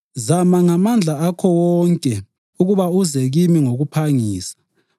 Zama ngamandla akho wonke ukuba uze kimi ngokuphangisa